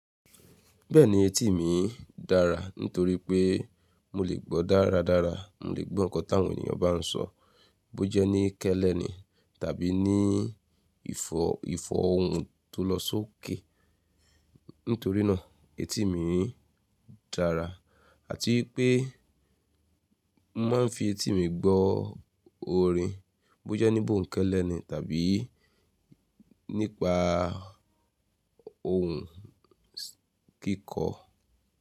Bẹ́ẹ̀ni etí mi dára nítorí pé mo lè gbọ́ dáradára, mo lè gbọ́ nǹkan táwọn ènìyàn bá sọ, bó jẹ́ ní kẹ́lẹ́ ni tàbí ní ìfọ̀hùn tó lọ sókè. Nítoríná etí mi dára àti pé mo máa ń fi etí mi gbọ́ orin bó jẹ́ níbò ń kẹ́lẹ́ ni tàbí nípa ohùn kíkọ.